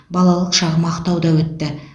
балалық шағым ақтауда өтті